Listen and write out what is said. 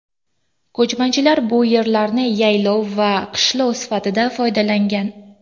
Ko‘chmanchilar bu yerlarni yaylov va qishlov sifatida foydalangan.